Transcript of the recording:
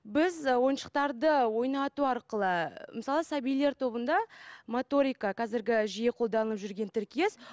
біз ойыншықтарды ойнату арқылы мысалы сәбилер тобында моторика қазіргі жиі қолданып жүрген тіркес